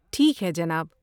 ٹھیک ہے جناب۔